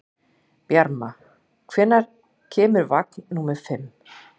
Bjarma, hvenær kemur vagn númer fimm?